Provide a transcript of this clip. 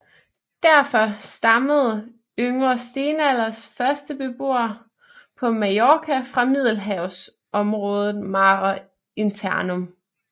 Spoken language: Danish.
Derfor stammede yngre stenalders første beboere på Mallorca fra Middelhavsområdet mare internum